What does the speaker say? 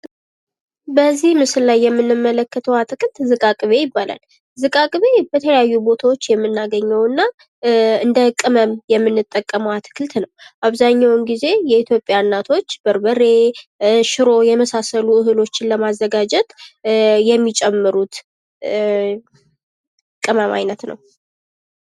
በዚህ ምስል የምንመለከተው አትክልት ዝቃቅቤ ይባላል። ዚቃቅቤ በተለያዩ ቦታዎች የምናገኘው እና እንደ ቅመም የምንጠቀመው አትክልት ነው አብዛኛውን ጊዜ የኢትዮጵያ እናቶች በርበሬ ፥ ሽሮ ፥ የመሳሰሉ እህሎችን ለማዘጋጀት የሚጨምሩት የቅመም ዓይነት ነው።